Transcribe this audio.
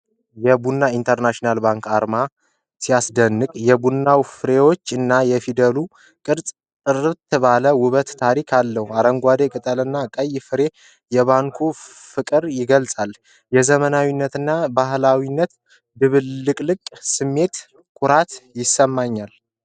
የቡና ኢንተርናሽናል ባንክ አርማ ሲያስደንቅ! የቡና ፍሬዎች እና የፊደል ቅርጾች ጥምረት ውበትና ታሪክ አለው። አረንጓዴው ቅጠል እና ቀይ ፍሬው የባንኩን ፍቅር ይገልጻል። የዘመናዊነትና ባህላዊነት ድብልቅልቅ ሲያምር! ኩራት ይሰማኛል!